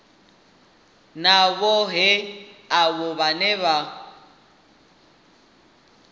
na vhohe avho vhane vha